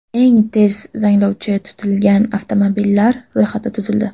Eng tez zanglovchi tutilgan avtomobillar ro‘yxati tuzildi.